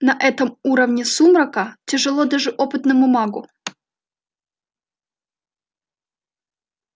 на этом уровне сумрака тяжело даже опытному магу